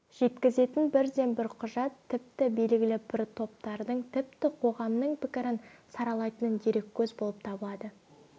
жеткізетін бірден бір құжат тіпті белгілі бір топтардың тіпті қоғамның пікірін саралайтын дереккөз болып табылады